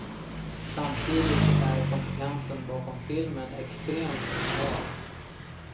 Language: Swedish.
Samtidigt är kompetensen bakom filmen extremt lokal.